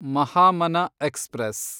Mahamana express